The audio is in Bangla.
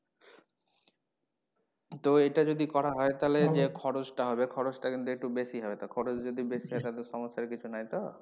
তো এইটা যদি করা হয় তাহলে যে খরচ টা হবে খরচ টা কিন্তু একটু বেশি হবে তো খরচ যদি বেশি হয় তাহলে সমস্যার কিছু নেই তো?